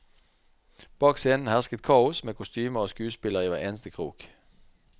Bak scenen hersket kaos, med kostymer og skuespillere i hver eneste krok.